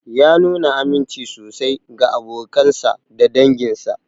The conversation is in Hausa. Ya nuna aminci sosai ga abokansa da danginsa.